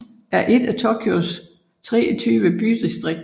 er et af Tokyos 23 bydistrikter